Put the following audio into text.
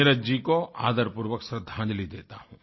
नीरज जी को आदरपूर्वक श्रद्धांजलि देता हूँ